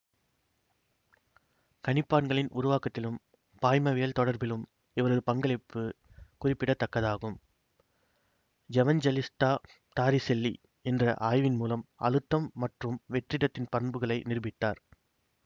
கணிப்பான்களின் உருவாக்கத்திலும் பாய்மவியல் தொடர்பிலும் இவரது பங்களிப்பு குறிப்பிடத்தக்கதாகும் எவன்ஜெளிஸ்டா டாரிசெல்லி என்ற ஆய்வின் மூலம் அழுத்தம் மற்றும் வெற்றிடத்தின் பண்புகளை நிருபித்தார்